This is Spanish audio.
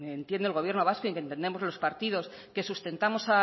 entiende el gobierno vasco y que entendemos los partidos que sustentamos